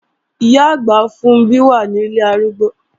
Ìyá-àgbà Funbí wà ní ilé arúgbó